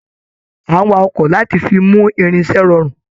A n wà ọkọ láti fí mú irinṣẹ rọrun.